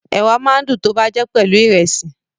Ẹ̀wà máa ń dùn tọ́ bá jẹ́ pelu Ìrẹ́sì